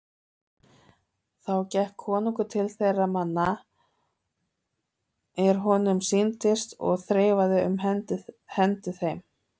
Þá gekk konungur til þeirra manna er honum sýndist og þreifaði um hendur þeim.